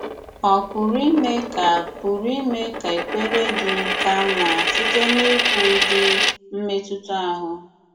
Ọ̀ pụrụ ime ka pụrụ ime ka èkpèrè gị ka mma site n’íkwu ụdị̀ mmetụta ahụ?